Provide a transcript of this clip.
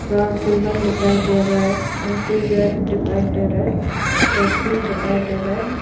Rod ribbon दिखाई दे रहा है एंट्री गेट दिखाई दे रहा है डस्टबिन दिखाई दे रहा है।